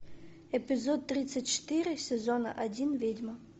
эпизод тридцать четыре сезона один ведьма